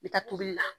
I bɛ taa tobili la